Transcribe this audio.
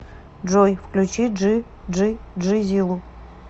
джой включи джи джи джизилу